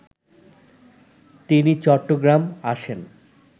তিনি চট্টগ্রাম আসেন